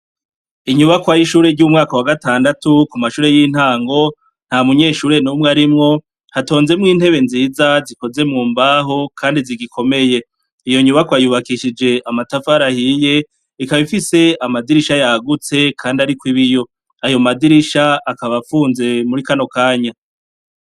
Inyubakwa y'ishure y'umwaka wa gatandatu ku mashure y'intango, nta munyeshure n'umwe aharimwo, hatonzemwo intebe nziza zikoze mu mbaho, kandi zigikomeye. Iyo nyubakwa yubakishije amatafari ahiye, ikaba ifise amadirisha yagutse, kandi ariko ibiyo. Ayo madirisha akaba afunze muri kano kanya.